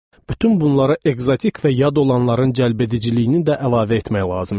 Bütün bunlara ekzotik və yad olanların cəlbediciliyini də əlavə etmək lazım gəlir.